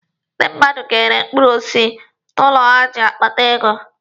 Ndi mmadụ ga-ere mkpụrụ osisi nọ n'ụlọ ha iji kpata ego.